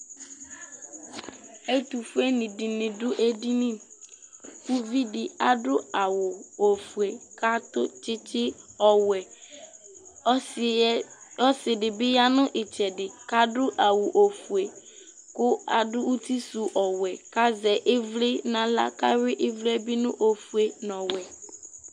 ɛto fue ni di ni do edini uvi di adu awu ofue k'ato tsitsi ɔwɛ ɔsi yɛ ɔsi di bi ya no itsɛdi k'adu awu ofue kò adu uti su ɔwɛ k'azɛ ivli n'ala k'awi ivli yɛ bi no ofue no ɔwɛ